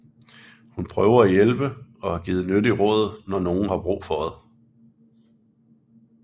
Hun prøver at hjælpe og give nyttig råd når nogen har brug for det